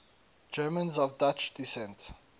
germans of dutch descent